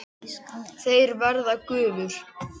Þeir verða gufur.